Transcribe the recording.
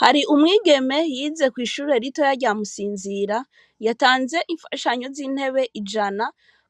Hari umwigeme yize kw'ishure ritoya rya msinzira yatanze ifashanyo z'intebe ijana